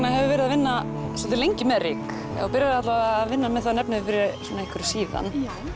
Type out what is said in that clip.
hefur verið að vinna svolítið lengi með ryk eða byrjaðir alla vega að vinna þann efnivið fyrir einhverju síðan